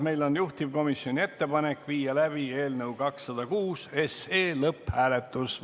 Meil on juhtivkomisjoni ettepanek viia läbi eelnõu 206 lõpphääletus.